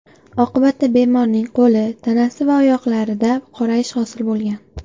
Oqibatda bemorning qo‘li, tanasi va oyoqlarida qorayish hosil bo‘lgan”.